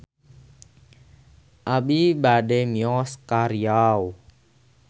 Abi bade mios ka Riau